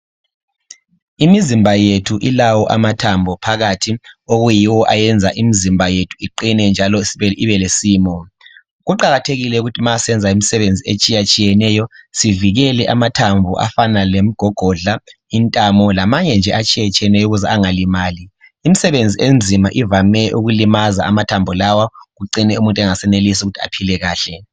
Imizimba yethu ilawo amathambo phakathi okuyiwo ayenza imizimba yethu iqine njalo ibelesimo. Kuqakathekile ukuthi ma sisenza imisebenzi etshiyeneyo sivikele amathambo afana lemigogodla, intamo lamanye nje atshiyeneyo ukuze angalimali. Imisebenzi enzima ivame ukulimaza amathambo lawa acime umuntu engasenelisi ukuthi aphile kahle.